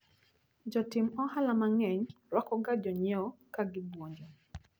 Jotim ohala mang`eny rwakoga jonyiewo kagibuonjo.